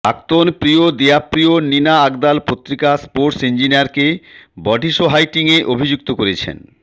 প্রাক্তন প্রিয় DiCaprio Nina Agdal পত্রিকা স্পোর্টস ইন্জিনিয়ারকে বডিসহাইটিংয়ে অভিযুক্ত করেছেন